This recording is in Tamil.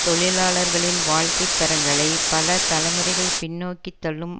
தொழிலாளர்களின் வாழ்க்கை தரங்களை பல தலைமுறைகள் பின்னோக்கித் தள்ளும்